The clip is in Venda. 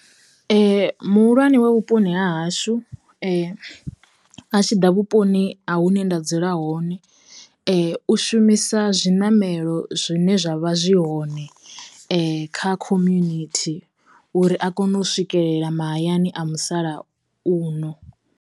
Muhulwane wa vhuponi ha hashu a tshiḓa vhuponi ha hune nda dzula hone, u shumisa zwi ṋamelo zwine zwavha zwi hoṋe kha community uri a kone u swikelela mahayani a musalauno.